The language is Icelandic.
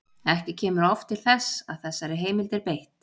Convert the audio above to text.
Ekki kemur oft til þess að þessari heimild er beitt.